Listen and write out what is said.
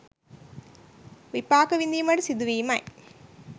විපාක විඳීමට සිදුවීමයි.